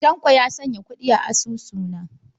Tanko ya sanya kuɗi a asusuna.